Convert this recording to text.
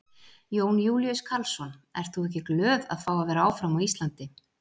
Jón Júlíus Karlsson: Ert þú ekki glöð að fá að vera áfram á Íslandi?